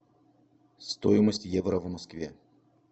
стоимость евро в москве